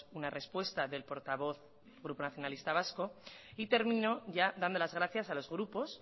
una respuesta del portavoz del grupo nacionalistas vascos termino ya dando las gracias a los grupos